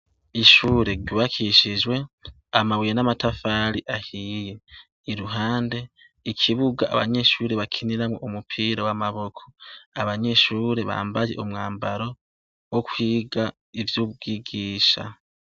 Ishure ryubakishijwe amabuye n'amatafari ahiye; iruhande ikibuga abanyeshuri bakiniramo umupira w'amaboko, abanyeshure bambaye umwambaro wo kwiga ivy'ubwigisha.